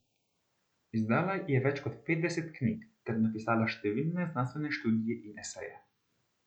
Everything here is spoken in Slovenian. Izdala je več kot petdeset knjig ter napisala številne znanstvene študije in eseje.